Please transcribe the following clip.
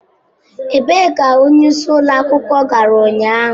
Ebee ka onyeisi ụlọ akwụkwọ gara ụnyaahụ?